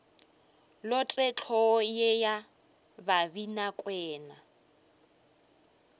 lote hlogo ye ya babinakwena